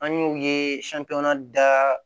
An y'u ye da